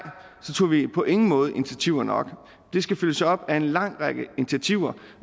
så tog vi på ingen måde initiativer nok det skal følges op af en lang række initiativer